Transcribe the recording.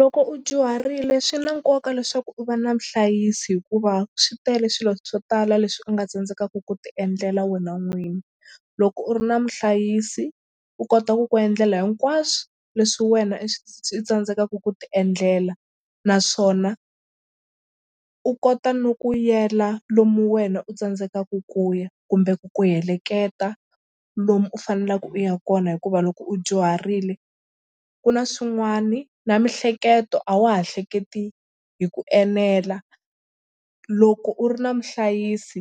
Loko u dyuharile swi na nkoka leswaku u va na muhlayisi hikuva swi tele swilo swo tala leswi u nga tsandzekaka ku tiendlela wena n'wini. Loko u ri na muhlayisi u kota ku ku endlela hinkwaswo leswi wena i i tsandzekaku ku tiendlela naswona u kota no ku yela lomu wena u tsandzekaka ku ya kumbe ku ku heleketa lomu u faneleke u ya kona hikuva loko u dyuharile ku na swin'wani na miehleketo a wa ha hleketi hi ku enela. Loko u ri na muhlayisi